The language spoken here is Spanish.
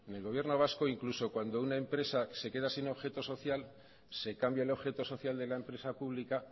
en el gobierno vasco incluso cuando una empresa se queda sin objeto social se cambia el objeto social de la empresa pública